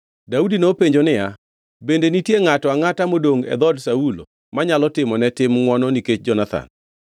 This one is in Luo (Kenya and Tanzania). Daudi nopenjo niya, “Bende nitie ngʼato angʼata modongʼ e dhood Saulo manyalo timo ne tim ngʼwono nikech Jonathan?”